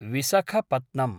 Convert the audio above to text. विसखपत्नं